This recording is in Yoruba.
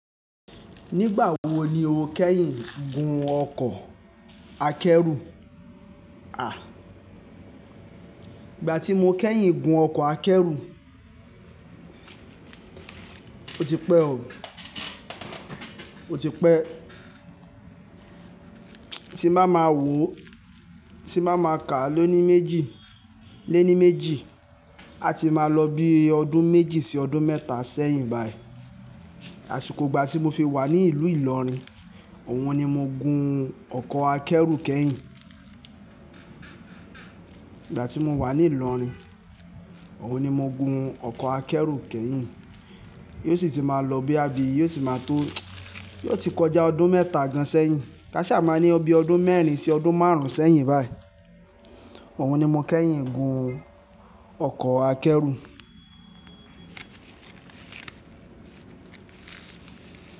Nígbà wo ni o kẹ́yìn gun ọkọ̀ akẹ́rù? À, ìgbà tí mo kẹ́yìn gun ọkọ̀ akẹ́rù, ó ti pẹ́ o, ó ti pẹ́. Tí má ma wò ó, tí má ma kà á léni méjì, a ti máa lọ bí i ọdún méjì sí ọdún mẹ́ta sẹ́yìn báyìí. Àsìkò ìgbà tí mo fi wà ní ìlú Ìlọrin, ọ̀hun ni mo gun ọkọ̀ akẹ́rù kẹ́yìn. Ìgbà tí mo wà ní Ìlọrin, ọ̀wọ́n ni mo gun ọkọ̀ akẹ́rù kẹ́yìn. Yóò sì ti máa lọ bí boya bi yóò sì máa tó, yóò ti kọjá ọdún mẹ́ta gan sẹ́yìn. Kaṣá máa ní bí i ọdún mẹ́rin sí ọdún márùn ún sẹ́yìn báyìí. Ọ̀wọ́n ni mo kẹ́yìn gun ọkọ̀ akẹ́rù.